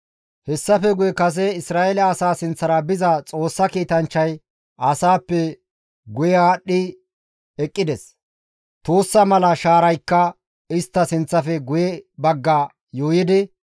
Hessafe guye kase Isra7eele asaa sinththara biza Xoossa kiitanchchay asaappe guye aadhdhi eqqides. Tuussa mala shaaraykka istta sinththafe guye bagga yuuyidi,